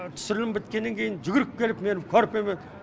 түсірілім біткеннен кейін жүгіріп келіп мені көрпемен